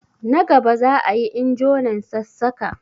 Na gaba za a yi injonan Sassaƙa